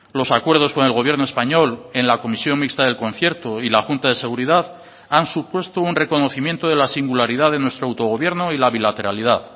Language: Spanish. los acuerdos con el gobierno español en la comisión mixta del concierto y la junta de seguridad han supuesto un reconocimiento de la singularidad de nuestro autogobierno y la bilateralidad